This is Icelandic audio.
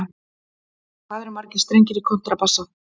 Hvað eru margir strengir í kontrabassa?